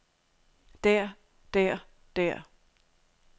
der der der